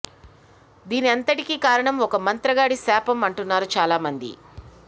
దీని అంతటికీ కారణం ఒక మంత్రగాడి శాపం అంటున్నారు చాలా మంది